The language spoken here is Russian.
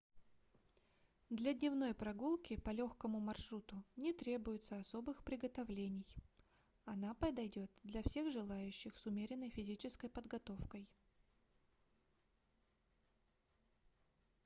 для дневной прогулки по легкому маршруту не требуется особых приготовлений она подойдет для всех желающих с умеренной физической подготовкой